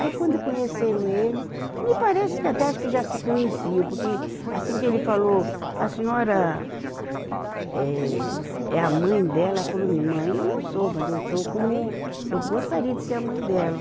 Aí, quando conheceram ele, me parece que até acho que já se conheciam, porque assim que ele falou, a senhora eh, é a mãe dela, ela falou, mãe, eu não sou, mas eu estou como, eu gostaria de ser a mãe dela.